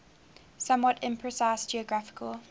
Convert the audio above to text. somewhat imprecise geographical